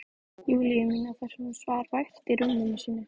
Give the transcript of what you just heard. Júlíu mína þar sem hún svaf vært í rúminu sínu.